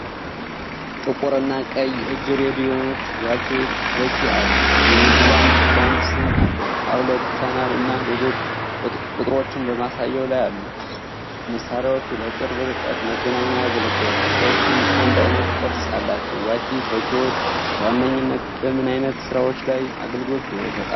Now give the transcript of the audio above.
ጥቁር እና ቀይ የእጅ ሬዲዮዎች (ዋኪ ቶኪ) አሉ። የ ሚድላንድ ብራንድ ስም አለው።22 ቻናል እና ሌሎች ቁጥጥሮች በማሳያው ላይ አለ። መሣሪያዎቹ ለቅርብ ርቀት መገናኛ ያገለግላሉ። ሁለቱም አንድ ዓይነት ቅርጽ አላቸው። ዋኪ ቶኪዎች በዋነኝነት በምን ዓይነት ሥራዎች ላይ አገልግሎት ይሰጣሉ?